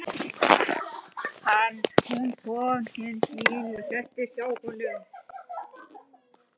Hún kom til Stjána og settist hjá honum.